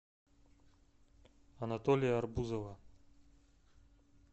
анатолия арбузова